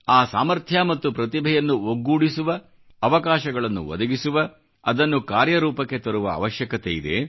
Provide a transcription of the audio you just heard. ಆ ಸಾಮರ್ಥ್ಯ ಮತ್ತು ಪ್ರತಿಭೆಯನ್ನು ಒಗ್ಗೂಡಿಸುವ ಅವಕಾಶಗಳನ್ನು ಒದಗಿಸುವ ಅದನ್ನು ಕಾರ್ಯರೂಪಕ್ಕೆ ತರುವ ಅವಶ್ಯಕತೆಯಿದೆ